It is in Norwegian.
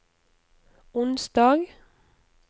onsdag